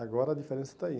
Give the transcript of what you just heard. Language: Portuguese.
Agora a diferença está aí.